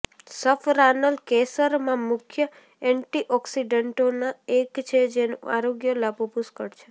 સફરાનલ કેસરમાં મુખ્ય એન્ટીઑકિસડન્ટોના એક છે જેનો આરોગ્ય લાભો પુષ્કળ છે